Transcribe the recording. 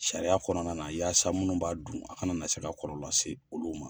Sariya kɔnɔna na yaasa minnu b'a dun a kana na se ka kɔlɔ lase olu ma.